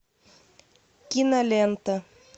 кинолента